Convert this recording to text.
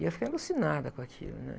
E eu fiquei alucinada com aquilo, né?